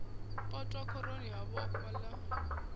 potwa khoroni ha vhoxwa ḽa